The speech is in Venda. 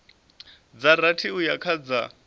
dza rathi uya kha dza